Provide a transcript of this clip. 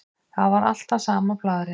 Þetta var alltaf sama blaðrið.